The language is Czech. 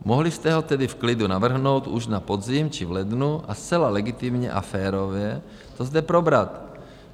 Mohli jste ho tedy v klidu navrhnout už na podzim či v lednu a zcela legitimně a férově to zde probrat.